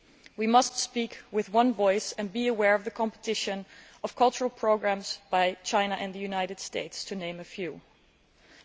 We must speak with one voice and be aware of the competition from cultural programmes by China and the United States, to name just two.